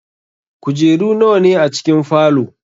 Kujeru nawa ne a cikin falow?